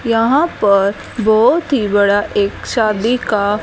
यहां पर बहोत ही बड़ा एक शादी का--